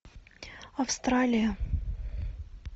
австралия